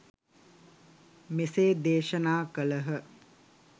මෙසේ දේශනා කළහ.